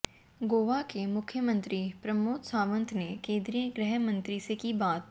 गोवा के मुख्यमंत्री प्रमोद सावंत ने केंद्रीय गृह मंत्री से की बात